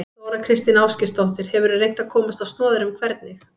Þóra Kristín Ásgeirsdóttir: Hefurðu reynt að komast á snoðir um hvernig?